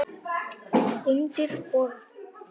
Undir borð.